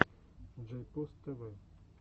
джейпос тв